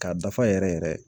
K'a dafa yɛrɛ yɛrɛ